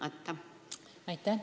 Aitäh!